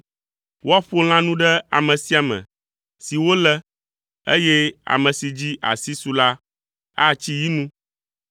Woaƒo lãnu ɖe ame sia ame si wolé, eye ame si dzi asi su la atsi yi nu.